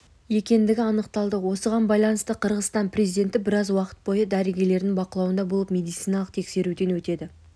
екендігі анықталды осыған байланысты қырғызстан президенті біраз уақыт бойы дәрігерлердің бақылауында болып медициналық тексеруден өтеді